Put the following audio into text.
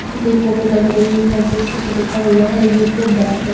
की फोटो लग रही है जिसके ऊपर लिखा हुआ है यू_को बैंक --